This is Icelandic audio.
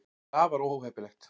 það er afar óheppilegt